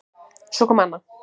Svo kom Anna